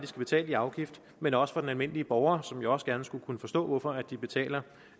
skal betale i afgift men også for den almindelige borger som jo også gerne skulle kunne forstå hvorfor de betaler